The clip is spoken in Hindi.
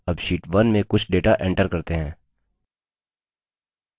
अब sheet 1 में कुछ data enter करते हैं